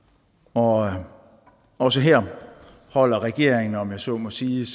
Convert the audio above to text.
og og også her holder regeringen om jeg så må sige